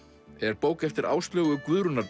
er bók eftir Áslaugu